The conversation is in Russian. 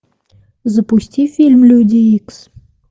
запусти фильм люди икс